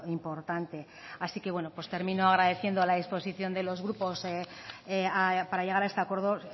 importante así que termino agradeciendo la disposición de los grupos para llegar a este acuerdo